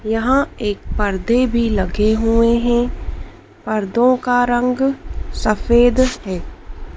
यहां एक पर्दे भी लगे हुए हैं पर्दों का रंग सफेद है।